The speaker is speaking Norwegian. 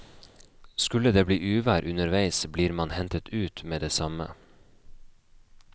Skulle det bli uvær underveis, blir man hentet ut med det samme.